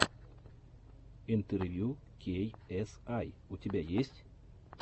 интервью кей эс ай у тебя есть